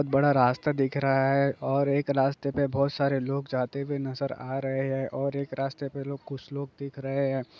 बड़ा रास्ता दिख रहा है और एक रास्ते पर बहुत सारे लोग जाते हुए नजर आ रहे है और एक रास्ते पर लोग कुछ लोग दिख रहे है।